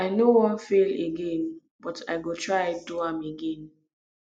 i no wan fail again but i go try do am again